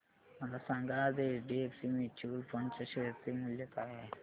मला सांगा आज एचडीएफसी म्यूचुअल फंड च्या शेअर चे मूल्य काय आहे